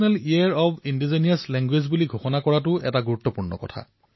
এক প্ৰকাৰে হোৱাটছএপেই শ্ৰেণীকোঠালৈ পৰিৱৰ্তিত হল আৰু যত সকলোৱে শিক্ষক আৰু সকলোৱে বিদ্যাৰ্থীও